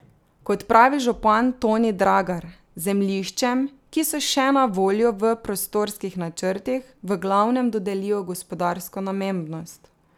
Kot pravi župan Toni Dragar, zemljiščem, ki so še na voljo v prostorskih načrtih, v glavnem dodelijo gospodarsko namembnost.